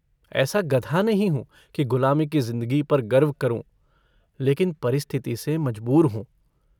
ऐसा गधा नहीं हूँ कि गुलामी की जिन्दगी पर गर्व करूँ लेकिन परिस्थिति से मजबूर हूँ।